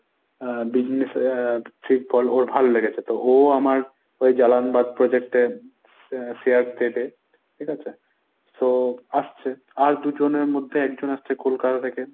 আহ business এর trick বল ওর ভালো লেগেছে তো ও আমার ওই জালানবাদ project এ sha~ share দেবে। ঠিকাছে? so আসছে আর ‍দুজনের মধ্যে একজন আসছে কলকাতা থেকে।